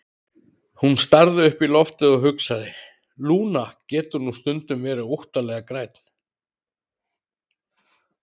Hún starði upp í loftið og hugsaði: Lúna getur nú stundum verið óttalega græn.